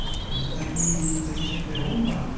таки таки таки таки румба